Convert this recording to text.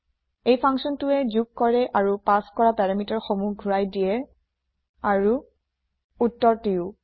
এই ফাংছনটোৱে যোগ কৰে আৰু পাচ কৰা পেৰামিটাৰ সমূহ ঘোৰাই দিয়ে আৰু উত্তৰটিয়ো